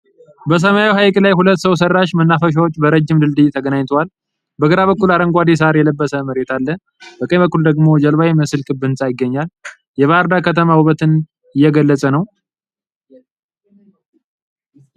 በሰማያዊ ሐይቅ ላይ፣ ሁለት ሰው ሠራሽ መናፈሻዎች በረጅም ድልድይ ተገናኝተዋል። በግራ በኩል አረንጓዴ ሣር የለበሰ መሬት አለ፤ በቀኝ በኩል ደግሞ ጀልባ የሚመስል ክብ ህንፃ ይገኛል። የባህር ዳር ከተማ ውበትን እየገለፀ ነው።